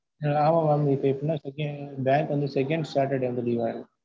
ஆமா mam இப்ப எப்போன்னா பேங்க் வந்து second saturday வந்து leave வா இருக்கும்.